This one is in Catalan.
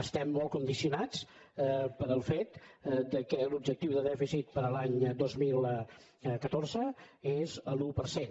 estem molt condicionats pel fet que l’objectiu de dèficit per a l’any dos mil catorze és l’un per cent